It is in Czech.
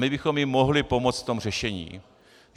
My bychom jim mohli pomoct v tom řešení.